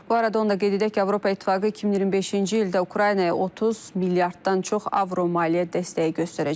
Bu arada onu da qeyd edək ki, Avropa İttifaqı 2025-ci ildə Ukraynaya 30 milyarddan çox avro maliyyə dəstəyi göstərəcək.